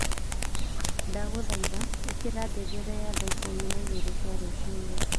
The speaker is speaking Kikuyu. Ndagũthaitha ĩkira ngengere ya thaa ikũmi na igĩrĩ cia rũcinĩ